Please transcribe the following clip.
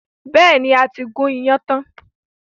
Bẹ́ẹ̀ni, a ti gún iyán tán.